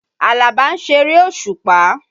Àlàbá ń ṣeré òṣùpà.